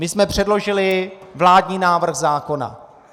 My jsme předložili vládní návrh zákona.